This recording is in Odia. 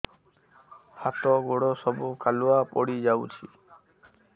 ହାତ ଗୋଡ ସବୁ କାଲୁଆ ପଡି ଯାଉଛି